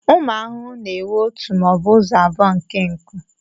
Ụmụ ahụhụ na-enwe ọtu maọbu ụzọ abụọ nke nkụ.